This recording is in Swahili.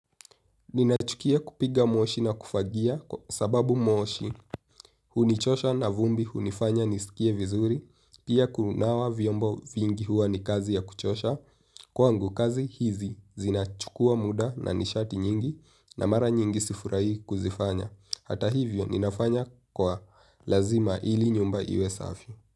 Ninachukia kupiga mwoshi na kufagia kwa sababu mwoshi hunichosha na vumbi hunifanya nisikie vizuri. Pia kunawa vyombo vingi huwa ni kazi ya kuchosha. Kwangu kazi hizi zinachukua muda na nishati nyingi na mara nyingi sifurahi kuzifanya. Hata hivyo ninafanya kwa lazima ili nyumba iwe safi.